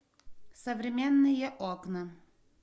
современные окна